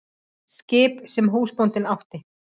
Skip sem húsbóndinn átti?